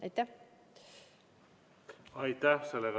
Aitäh!